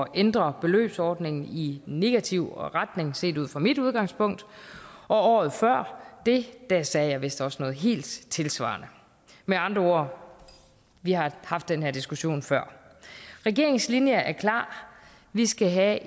ændre beløbsordningen i negativ retning set ud fra mit udgangspunkt og året før det det sagde jeg vist også noget helt tilsvarende med andre ord vi har haft den her diskussion før regeringens linje er klar vi skal have